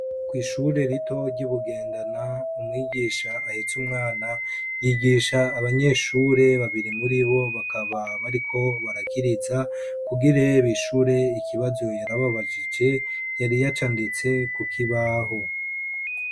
Kw'ishure rito ry'i Bugendana, umwigisha ahetse umwana, yigisha abanyeshure babiri muri bo bakaba bariko barakiriza, kugire bishure ikibazo yari ababajije, yari yacanditse ku kibaho.